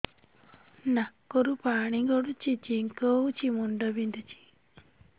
ନାକରୁ ପାଣି ଗଡୁଛି ଛିଙ୍କ ହଉଚି ମୁଣ୍ଡ ବିନ୍ଧୁଛି